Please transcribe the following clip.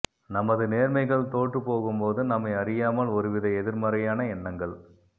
நமது நேர்மைகள் தோற்றுப் போகும்போது நம்மை அறியாமல் ஒருவித எதிர்மறையான எண்ணங்கள்